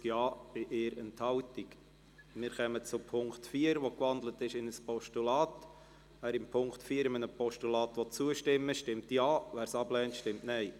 Wer in Punkt 4 einem Postulat zustimmen will, stimmt Ja, wer dies ablehnt, stimmt Nein.